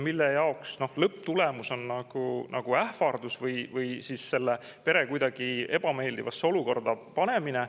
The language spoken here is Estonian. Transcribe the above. Ja lõpptulemus on nagu ähvardus või siis selle pere ebameeldivasse olukorda panemine.